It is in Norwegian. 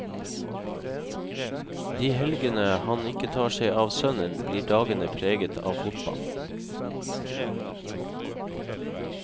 De helgene han ikke tar seg av sønnen, blir dagene preget av fotball.